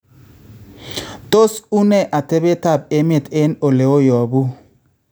Tos unee atebeetap emeet en oleyopu